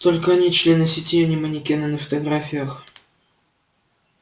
только они члены сети а не манекены на фотографиях